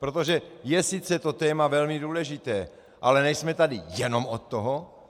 Protože je sice to téma velmi důležité, ale nejsme tady jenom od toho.